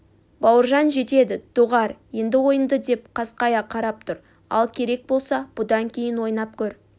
бауыржан жетеді доғар енді ойынды деп қасқая қарап тұр ал керек болса бұдан кейін ойнап көр